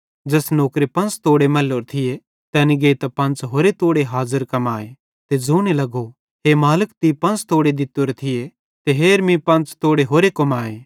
ज़ैस नौकरे पंच़ तोड़े मैल्लोरे थिये तैनी गेइतां पंच़ होरे तोड़े हाज़र कमाए ते ज़ोने लगो हे मालिक तीं पंच़ तोड़े दित्तोरे ते हेर मीं पंच़ तोड़े होरे कमाए